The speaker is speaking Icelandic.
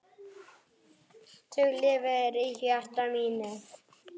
Þú lifir í hjarta mínu.